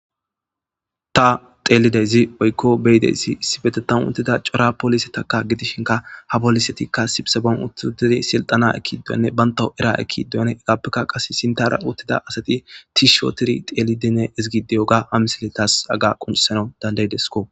Ta xeelideyzi oykko beyideyssi issibetetan uttida cora polise takka gidishinka ha polisetikka sibsebon uttidedi silxana ekidoyanne banta era ekidoyan egappekka qas sintara uottida asati ti shootiri xeelidine izigideyoga ha misiletas aga qunsana dandaydesko.